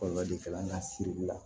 Kɔlɔlɔ de kɛ an ka siri la